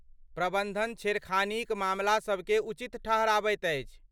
प्रबन्धन छेड़खानीक मामला सभकेँ उचित ठहराबैत अछि।